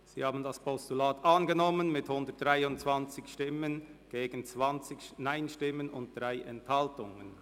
Sie haben das Postulat angenommen mit 123 Ja-Stimmen gegen 20 Nein-Stimmen bei 3 Enthaltungen.